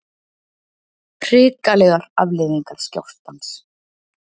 Hrikalegar afleiðingar skjálftans